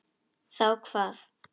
Þá hvað?